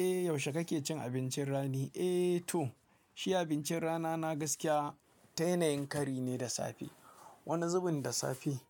Eh yaushe kake cin abincin rani? Eh to shi abincin rana na gaskiya, ta yanayin kari ne da safe. Wani zubin da safe